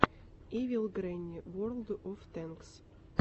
ивил грэнни ворлд оф тэнкс